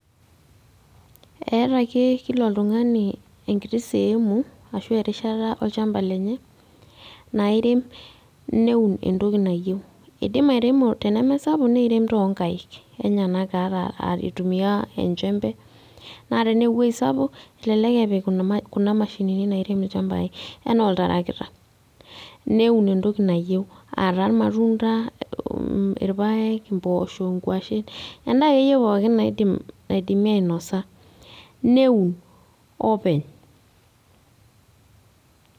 Eeeta ake kila oltung'ani enkiti seemu ashu erishata olchamba lenye nairem neun entoki nayeu, idim airemo tene mesapuk nirem too nkaek enyenak ata aitumia enchembe naa tenee wuei sapuk elelel epik kuna ma kuna mashinini nairem ilchambai enaa oltarakita neun entoki nayeu ataa irmatunda, mm irpaek, impoosho, nkwashen endaa ake yie pookin naidim naidimi ainosa neun openy.